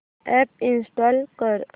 app install कर